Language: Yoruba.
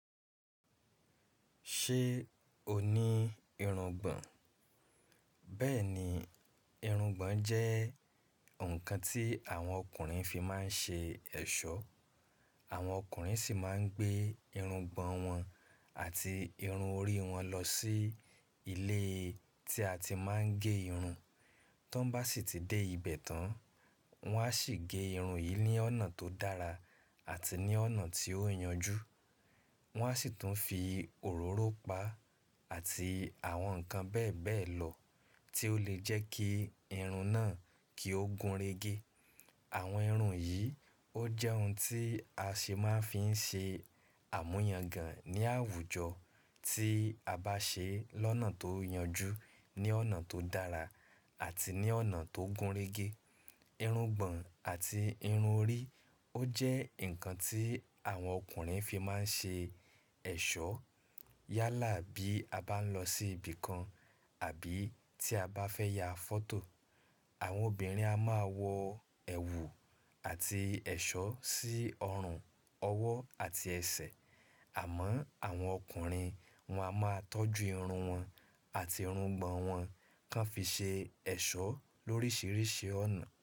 Ṣé o ní irungbọ̀n? Bẹ́ẹ̀ni, irungbọ̀n jẹ́ nǹkan tí àwọn ọkùnrin fi máa ń ṣe ẹ̀ṣọ́. Àwọn ọkùnrin sì máa ń gbé irungbọ̀n wọn àti irun orí wọn lọ sí ilé tí a ti máa ń gé irun. Tán n bá sì ti dé ibẹ̀ tán, wọ́n á sì gé irun yìí ní ọ̀nà tó dára àti ní ọ̀nà tí ó yanjú. Wọ́n á sì tún fi òróró pa á àti àwọn nǹkan bẹ́ẹ̀ bẹ́ẹ̀ lọ tí ó lè jẹ́ kí irun náà kí ó gúnrégé. Àwọn irun yìí ó jẹ́ ohun tí a ṣe máa ń fi ṣe àmúyangàn ní àwùjọ tí a bá ṣe é lọ́nà tó yanjú, ní ọ̀nà tó dára àti ní ọ̀nà tó gúnrégé. Irungbọ̀n àti irun orí ó jẹ́ nǹkan tí àwọn ọkùnrin fi máa ń ṣe ẹ̀ṣọ́ yálà bí a bá ń lọ sí ibìkan àbí tí a bá fẹ́ ya fọ́tò. Àwọn obìnrin a máa wọ ẹ̀wù àti ẹ̀ṣọ́ sí ọrùn, ọwọ́ àti ẹsẹ̀. Àmọ́ àwọn ọkùnrin wọn a máa tọ́jú irun wọn àti irungbọ̀n wọn kán fi ṣe ẹ̀ṣọ́ lóríṣiríṣi ọ̀nà.